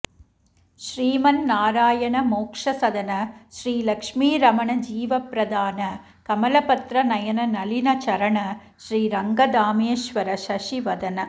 श्रीमन्नारायण मोक्षसदन श्री लक्ष्मीरमण जीवप्रदान कमलपत्र नयन नलिनचरण श्रीरङ्गधामेश्वर शशिवदन